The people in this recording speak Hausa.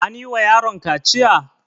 Anyi wa yaron kaciya?